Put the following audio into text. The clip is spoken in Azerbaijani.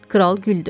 Kral güldü.